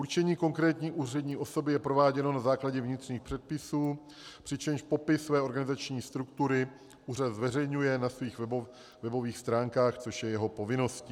Určení konkrétní úřední osoby je prováděno na základě vnitřních předpisů, přičemž popis své organizační struktury úřad zveřejňuje na svých webových stránkách, což je jeho povinností.